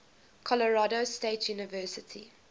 colorado state university